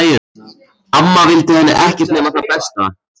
Amma vildi henni ekkert nema það besta.